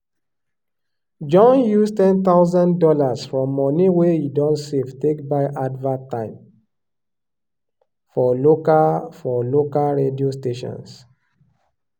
john use ten thousand dollars from money wey he don save take buy advert time for local for local radio stations.